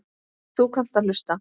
Þú kannt að hlusta.